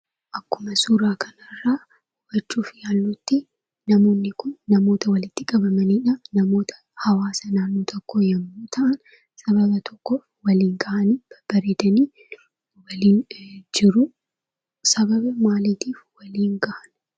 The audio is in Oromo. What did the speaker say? Akkuma suuraa kanarraa hubachuuf yaallutti , namoonni kun namoota walitti qabamaniidha. Namoota hawaasa naannoo tokkoo yommuu ta'an, sababa tokkoo wal gahanii babbareedani waliin jiruu. Sababa maaliitiif wal gahan?